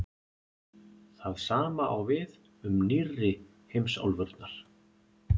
það sama á við um „nýrri“ heimsálfurnar